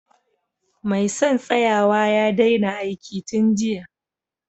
Mai son tsayawa ya daina aiki tun jiya